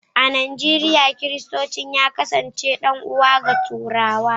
a Nijeriya, Kiristanci ya kasance ɗan’uwa ga Turawa